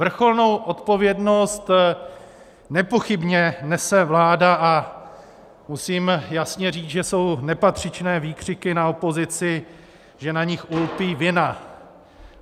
Vrcholnou odpovědnost nepochybně nese vláda a musím jasně říct, že jsou nepatřičné výkřiky na opozici, že na nich ulpí vina.